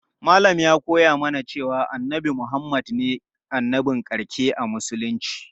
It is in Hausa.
Malam ya koya mana cewa annabi Muhammad ne annabin ƙarshe a musulunci.